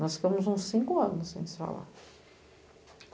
Nós ficamos uns cinco anos sem se falar.